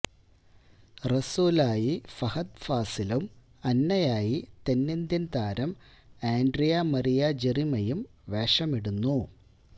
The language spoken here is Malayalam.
റസൂലായി ഫഹദ് ഫാസിലും അന്നയായി തെന്നിന്ത്യന് താരം ആന്ഡ്രിയാ മരിയ ജെറിമിയയും വേഷമിടുന്നു